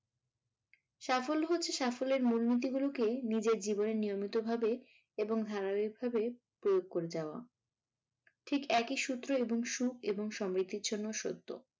সাফল্য হচ্ছে সাফল্যের মূলনীতি গুলো কে নিজের জীবনে নিয়মিত ভাবে এবং ধারাবাহিক ভাবে প্রয়োগ করে যাওয়া। ঠিক একই সূত্র এবং সুখ এবং সমৃদ্ধির জন্য সত্য।